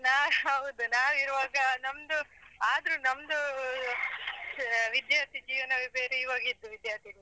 ನಾ ಹೌದು ನಾವಿರುವಾಗ ನಮ್ದು ಆದ್ರು ನಮ್ದು ವಿದ್ಯಾರ್ಥಿ ಜೀವನವೇ ಬೇರೆ ಇವಾಗಿದ್ದು ವಿದ್ಯಾರ್ಥಿ ಜೀವನವೇ.